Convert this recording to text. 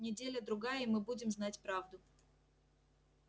неделя-другая и мы будем знать правду